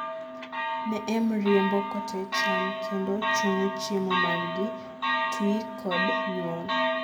neem riembo kote cham kendo chungo chiemo margi, twi kod nyuol